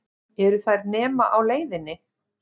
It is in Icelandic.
Eru þær nema á leiðinni?